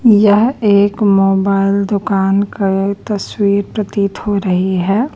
यह एक मोबाइल दुकान का तस्वीर प्रतीत हो रही है।